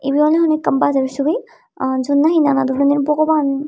ibey awley hono ekkan bazar subi a jiyot nahi nana doroner bogoban.